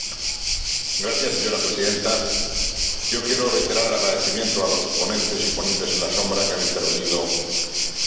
Señora Presidenta, yo quiero reiterar el agradecimiento a los ponentes y ponentes alternativos que han intervenido en esta materia.